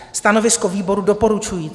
Stanovisko výboru: doporučující.